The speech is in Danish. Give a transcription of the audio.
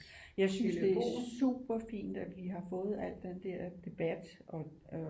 Jeg synes det er super fint at vi har fået alt den der debat og